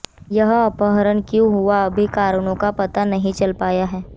यह अपहरण क्यों हुआ अभी कारणों का पता नहीं चल पाया है